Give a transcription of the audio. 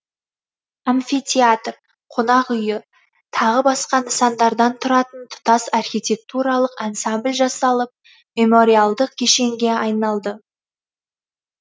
амфитеатр қонақ үйі тағы басқа нысандардан тұратын тұтас архитектуралық ансамбль жасалып мемориалдық кешенге айналды